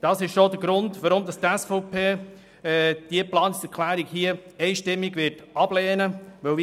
Das ist denn auch der Grund, weshalb die SVP diese Planungserklärung einstimmig ablehnen wird.